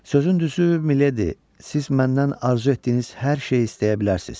Sözün düzü, Mileydi, siz məndən arzu etdiyiniz hər şeyi istəyə bilərsiz.